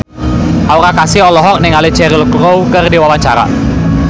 Aura Kasih olohok ningali Cheryl Crow keur diwawancara